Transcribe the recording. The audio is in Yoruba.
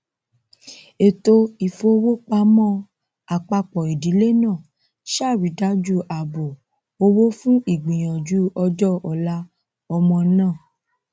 ètò ìfowópamọn àpápọ ìdílé náà sàrídájú àbò owó fún ìgbìyànjú ọjọ ọla ọmọ náà